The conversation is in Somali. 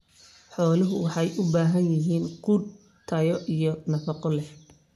Xooluhu waxay u baahan yihiin quud tayo iyo nafaqo leh.